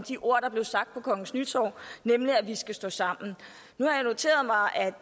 de ord der blev sagt på kongens nytorv nemlig at vi skal stå sammen nu har jeg